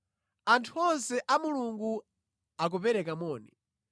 Anthu onse a Mulungu akupereka moni.